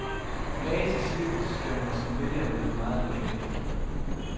Mage til cirkus skal man som vælger lede meget længe efter.